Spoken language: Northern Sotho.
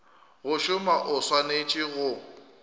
go šoma o swanetše go